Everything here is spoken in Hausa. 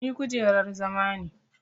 Ni kujerar zama ne.